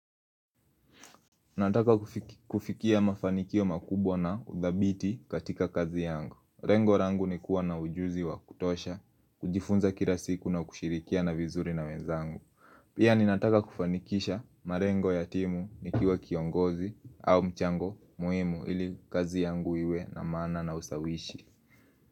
Nataka kufikia mafanikio makubwa na udhabiti katika kazi yangu lengo langu ni kuwa na ujuzi wa kutosha, kujifunza kila siku na kushirikia na vizuri na wenzangu Pia ni nataka kufanikisha malengo ya timu ni kiwa kiongozi au mchango muhimu ili kazi yangu iwe na maana na usawishi.